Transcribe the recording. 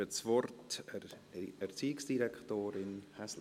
Ich gebe das Wort Erziehungsdirektorin Häsler.